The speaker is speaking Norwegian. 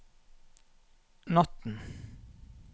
natten